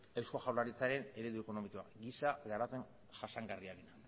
eusko jaurlaritzaren eredu ekonomikoa giza garapen jasangarriarena